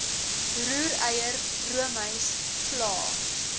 roereier roomys vla